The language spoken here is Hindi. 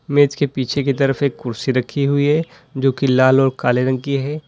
मेज के पीछे की तरफ एक कुर्सी रखी हुई है जो की लाल और काले रंग की है।